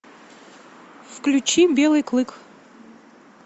включи белый клык